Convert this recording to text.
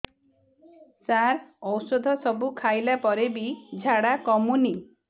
ସାର ଔଷଧ ସବୁ ଖାଇଲା ପରେ ବି ଝାଡା କମୁନି